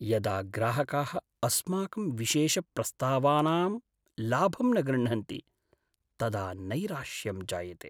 यदा ग्राहकाः अस्माकं विशेषप्रस्तावानां लाभं न गृह्णन्ति तदा नैराश्यं जायते।